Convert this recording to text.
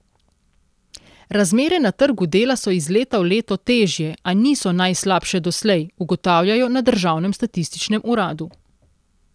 Razmere na trgu dela so iz leta v leto težje, a niso najslabše doslej, ugotavljajo na državnem statističnem uradu.